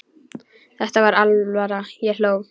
Þetta var alvara, ég hló.